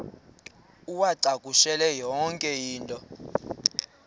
uwacakushele yonke into